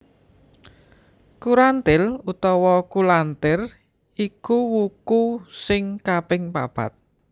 Kurantil utawa Kulantir iku wuku sing kaping papat